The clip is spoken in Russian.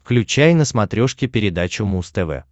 включай на смотрешке передачу муз тв